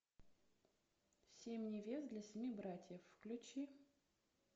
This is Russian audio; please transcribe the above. семь невест для семи братьев включи